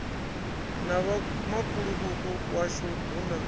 na vhomakhulu washu hu na